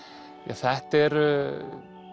þetta eru